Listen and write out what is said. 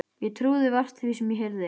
Ég trúði vart því sem ég heyrði.